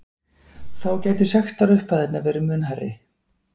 Þá gætu sektarupphæðirnar verði mun hærri